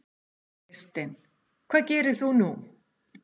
Kristinn: Hvað gerir þú nú?